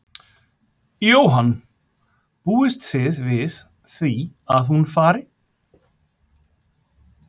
Jóhann: Búist þið við því að hún fari?